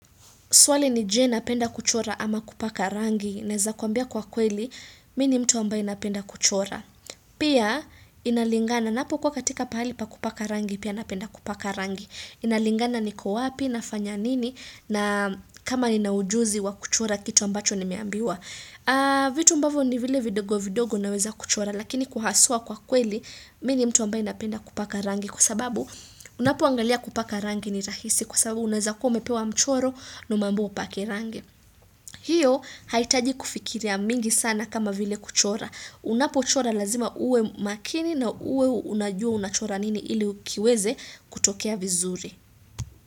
Swali ni je napenda kuchora ama kupaka rangi. Neza kuambia kwa kweli, mimi ni mtu ambaye napenda kuchora. Pia inalingana, napokuwa katika pahali pa kupaka rangi, pia napenda kupaka rangi. Inalingana niko wapi, nafanya nini, na kama nina ujuzi wa kuchora kitu ambacho nimeambiwa. Vitu ambavo ni vile vidogo vidogo naweza kuchora, lakini kwa haswa kwa kweli, mimi ni mtu ambaye napenda kupaka rangi. Kwa sababu unapoangalia kupaka rangi ni rahisi kwa sababu unaweza kuwa umepewa mchoro na umeambiwa upake rangi hiyo haihitaji kufikiria mingi sana kama vile kuchora unapo chora lazima uwe makini na uwe unajua unachora nini ili uki weze kutokea vizuri.